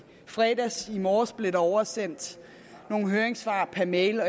fredags og i morges blev der oversendt nogle høringssvar per mail og